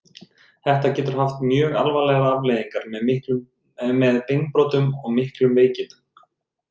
Þetta getur haft mjög alvarlegar afleiðingar með beinbrotum og miklum veikindum.